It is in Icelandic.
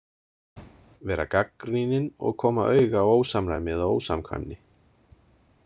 Vera gagnrýnin og koma auga á ósamræmi eða ósamkvæmni.